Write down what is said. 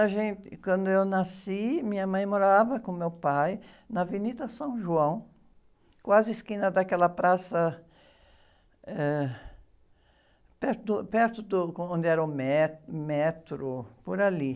A gente, quando eu nasci, minha mãe morava com meu pai na, quase esquina daquela praça, eh, perto, perto do, como, onde era o met, o metro, por ali.